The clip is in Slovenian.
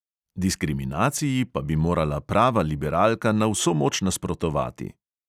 Diskriminaciji pa bi morala prava liberalka na vso moč nasprotovati.